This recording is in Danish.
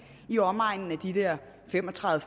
i omegnen af fem og tredive